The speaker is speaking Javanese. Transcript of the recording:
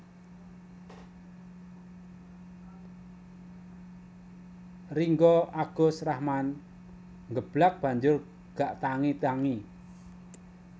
Ringgo Agus Rahman nggeblak banjur gak tangi tangi